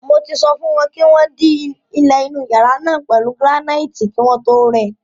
Mo ti sọ fún wọn kí wọ́n dí ilẹ̀ inú yàrá náà pẹ̀lú gíránáìtì kí wọ́n tó rẹ.